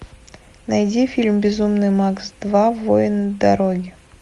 найди фильм безумный макс два воин дороги